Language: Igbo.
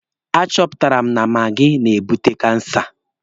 A chọpụtara na maagi na-ebute kansa.